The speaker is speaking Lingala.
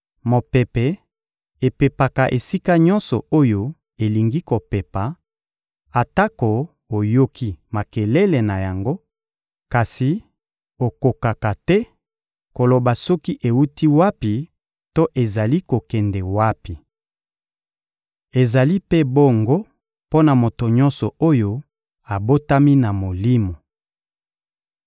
Mopepe epepaka esika nyonso oyo elingi kopepa; atako oyoki makelele na yango, kasi okokaka te koloba soki ewuti wapi to ezali kokende wapi. Ezali mpe bongo mpo na moto nyonso oyo abotami na Molimo.